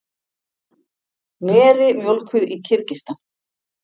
Meri mjólkuð í Kirgistan.